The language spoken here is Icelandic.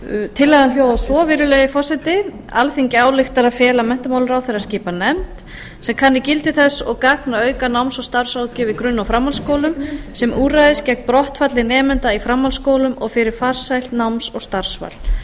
tillagan hljóðar svo virðulegi forseti alþingi ályktar að fela menntamálaráðherra að skipa nefnd sem kanni gildi þess og gagn að auka náms og starfsráðgjöf í grunn og framhaldsskólum sem úrræðis gegn brottfalli nemenda í framhaldsskólum og fyrir farsælt náms og starfsval